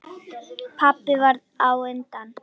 Pabbi varð á undan.